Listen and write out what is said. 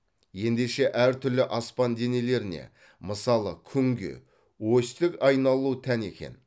ендеше әр түрлі аспан денелеріне мысалы күнге осьтік айналу тән екен